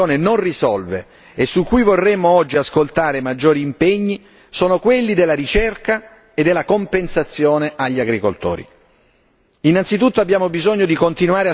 I due problemi che la decisione della Commissione non risolve e su cui vorremmo oggi ascoltare maggiori impegni sono quelli della ricerca e della compensazione agli agricoltori.